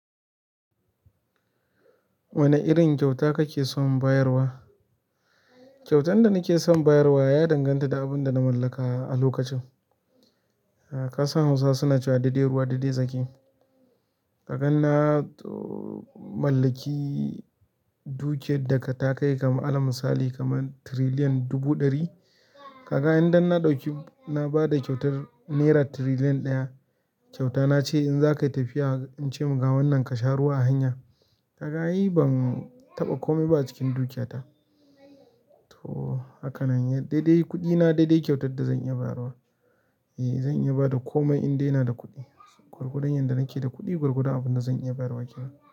Wani irin kyauta kake son bayarwa? Kyautan da nake son bayarwa ya danganta da abun da na mallaka a lokacin kasan hausawa suna cewa "daidai ruwa daidai tsaki" kaga na too mallaki dukiyar da takai kamar alal misali kamar tiriliyan dubu ɗari, kaga indan na ɗauki na ba da kyautar nera tiriliyan ɗaya, kyautana ce in za ka yi tafiya in ce maka ga wannan ka sha ruwa a hanya kaga ai. Ban taɓa komai ba a cikin dukiyata. Haka nan, dai-dai kuɗina dai-dai kyautar da zan iya bayarwa. Zan iya ba da komai indai ina da kuɗi. Gwargwadon yadda nake da kuɗi, gwargwadon abin da zan iya bayarwa kenan.